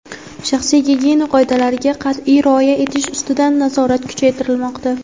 shaxsiy gigiyena qoidalariga qatʼiy rioya etish ustidan nazorat kuchaytirilmoqda.